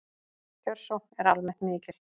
Kjörsókn er almennt mikil